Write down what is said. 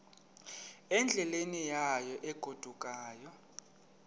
endleleni yayo egodukayo